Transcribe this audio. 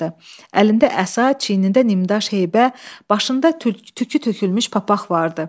Əlində əsa, çiynində nimdaş heybə, başında tükü tökülmüş papaq vardı.